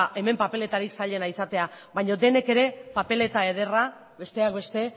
hemen papelerik zailena izatea baina denek ere papeleta ederra besteak beste